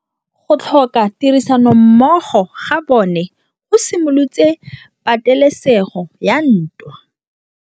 Go tlhoka tirsanommogo ga bone go simolotse patêlêsêgô ya ntwa.